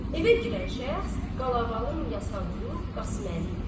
Evə girən şəxs Qalavalı Yasavullu Qasıməli idi.